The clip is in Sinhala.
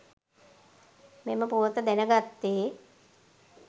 මෙම පුවත දැනගත්තේ.